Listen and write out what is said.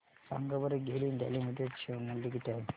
सांगा बरं GAIL India limited share मूल्य किती आहे